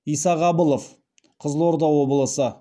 исағабылов қызылорда облысы